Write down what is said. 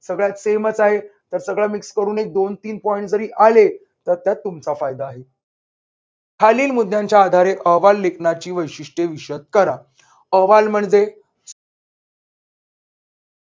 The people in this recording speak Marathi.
सगळ्यात same च आहे तर सगळं mix करून एक दोन तीन point आले तर त्यात तुमचा फायदा आहे. खालील मुद्द्यांच्या आधारे अहवाल लेखनाची वैशिष्ट्ये विशद करा. अहवाल म्हणजे